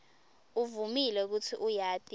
uvumile kutsi uyati